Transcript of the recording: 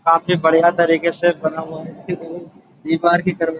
काफी बढ़ियां तरीके से बना हुआ है। दीवार की तरह --